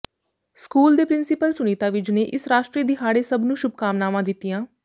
school ਦੇ principal Sunita Vij ਨੇ ਇਸ ਰਾਸ਼ਟਰੀ ਦਿਹਾੜੇ ਸਭ ਨੂੰ ਸ਼ੁਭਕਾਮਨਾਵਾਂ ਦਿਤੀਆਂ